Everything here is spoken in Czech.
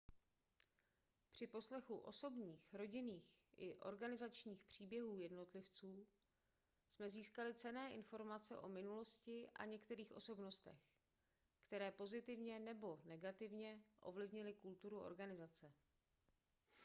při poslechu osobních rodinných i organizačních příběhů jednotlivců jsme získali cenné informace o minulosti a některých osobnostech které pozitivně nebo negativně ovlivnily kulturu organizace